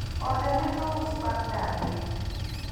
ode ne ous bang' darne